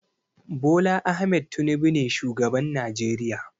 Bola Ahmed Tinubu ne shugaban Najeriya.